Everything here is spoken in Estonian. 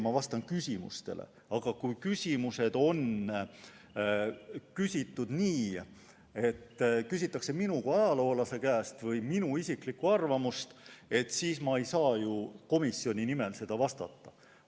Ma vastan küsimustele, aga kui küsimused on esitatud nii, et küsitakse minu kui ajaloolase käest või minu isiklikku arvamust, siis ma ei saa ju komisjoni nimel vastata.